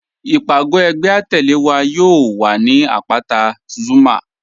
Ìpagò ẹgbẹ̀ àtẹle wa yóò wà ni apátà Zuma.